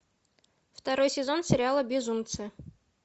второй сезон сериала безумцы